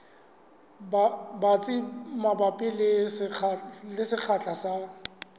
batsi mabapi le sekgahla sa